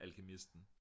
alkymisten